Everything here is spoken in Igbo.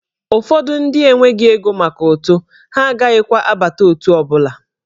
Ụfọdụ ndị enweghị ego maka ụtụ, ha agaghịkwa abata otù ọ bụla.